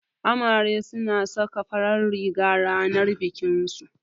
Amare suna saka farar riga ranar bikinsu